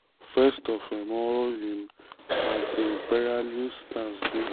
first of um all im his anti-imperialist stance dey.